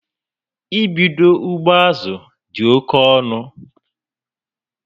I bídó ugbo azụ dị oke ọnụ